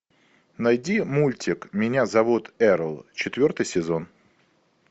найди мультик меня зовут эрл четвертый сезон